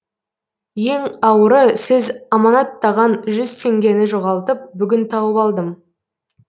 ең ауыры сіз аманаттаған жүз теңгені жоғалтып бүгін тауып алдым